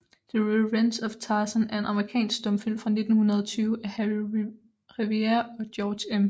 The Revenge of Tarzan er en amerikansk stumfilm fra 1920 af Harry Revier og George M